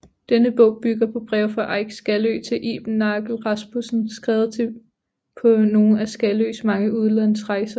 Denne bog bygger på breve fra Eik Skaløe til Iben Nagel Rasmussen skrevet på nogle af Skaløes mange udlandsrejser